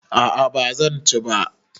A'a ba zan ci ba.